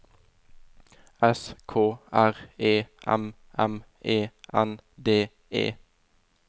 S K R E M M E N D E